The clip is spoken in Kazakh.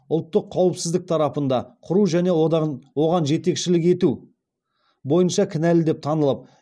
оған жетекшілік ету бойынша кінәлі деп танылып